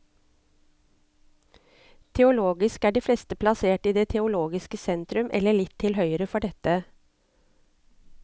Teologisk er de fleste plassert i det teologiske sentrum, eller litt til høyre for dette.